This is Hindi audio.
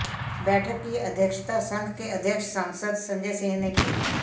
बैठक की अध्यक्षता संघ के अध्यक्ष सांसद संजय सिंह ने की